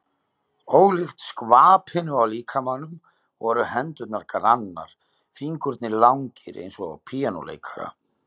Ólíkt skvapinu á líkamanum voru hendurnar grannar, fingurnir langir eins og á píanóleikara.